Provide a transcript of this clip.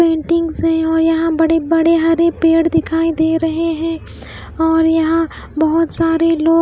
paintings है और यहाँ बड़े-बड़े हरे पेड़ दिखाई दे रहे हैं और यहाँ बहुत सारे लोग --